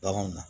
Baganw na